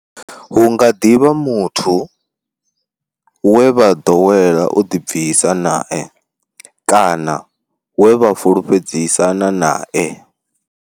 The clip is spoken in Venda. Hu nga ḓi vha muthu we vha ḓowela u ḓibvisa nae kana we vha fhulufhedzisana nae.